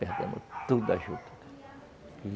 Perdemos toda a juta.